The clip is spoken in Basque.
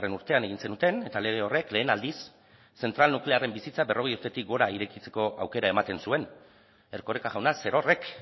urtean egin zenuten eta lege horrek lehen aldiz zentral nuklearren bizitza berrogei urtetik gora irekitzeko aukera ematen zuen erkoreka jauna zerorrek